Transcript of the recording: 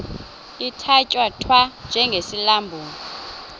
ithatya thwa njengesilandulo